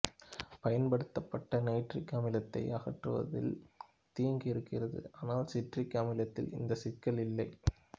பயன்படுத்தப்பட்ட நைட்ரிக் அமிலத்தை அகற்றுவதில் தீங்கு இருக்கிறது ஆனால் சிட்ரிக் அமிலத்தில் இந்த சிக்கல் இல்லை